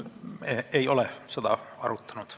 Me ei ole seda arutanud.